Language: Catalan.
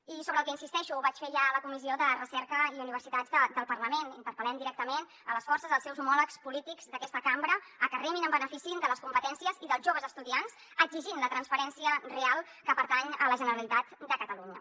i hi insisteixo ho vaig fer ja la comissió de recerca i universitats del parla·ment interpel·lem directament les forces els seus homòlegs polítics d’aquesta cam·bra perquè remin en benefici de les competències i dels joves estudiants exigint la transferència real que pertany a la generalitat de catalunya